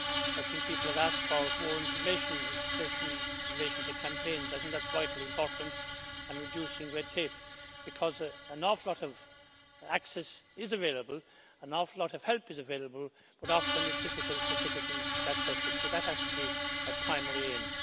I think people have asked for more information especially in relation to campaigns. I think that's vitally important in reducing red tape, because a lot of access is available, a lot of help is available, but often it's difficult for citizens to access it, so that has to be a primary aim.